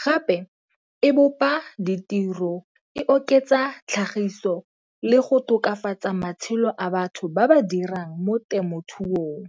Gape e bopa ditiro, e oketsa tlhagiso, le go tokafatsa matshelo a batho ba ba dirang mo temothuong.